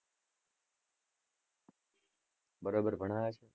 બરોબર ભણાવે છે?